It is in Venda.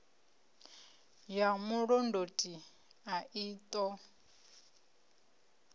ya mulondoti a i ṱo